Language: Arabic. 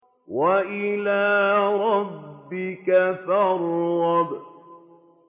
وَإِلَىٰ رَبِّكَ فَارْغَب